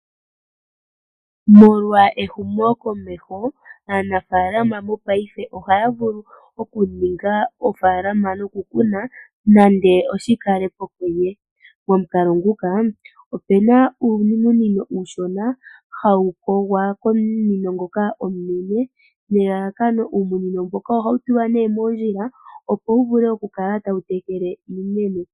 Molwa ehumo komeho aanafaalama mo paife ohaya vulu okuninga ofaalama nokukuna nande oshikalepo konye. Momukalo nguka opena uumunino uushona hawu kogwa komunino ngoka omunene, nelalakano uumunino mboka ohawu tulwa nee moondjila opo wu vule okukala tawu tekele iimeno.